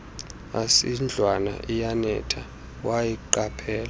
asindlwana iyanetha wayiqaphela